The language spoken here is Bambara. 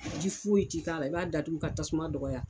Ji foyi ti k'a la i b'a datugu ka tasuma dɔgɔya